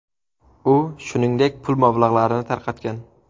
U, shuningdek, pul mablag‘larini tarqatgan.